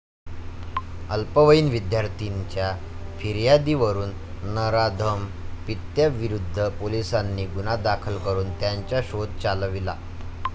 अल्पवयीन विद्यार्थिनीच्या फियार्दीवरून नराधम पित्याविरुद्ध पोलिसांनी गुन्हा दाखल करून त्याचा शोध चालविला.